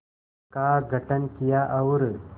का गठन किया और